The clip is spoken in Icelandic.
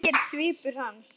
segir svipur hans.